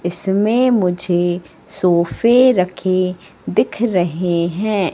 इसमें मुझे सोफे रखे दिख रहे हैं।